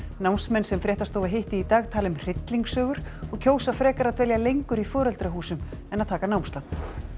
námsmenn sem fréttastofa hitti í dag tala um hryllingssögur og kjósa frekar að dvelja lengur í foreldrahúsum en að taka námslán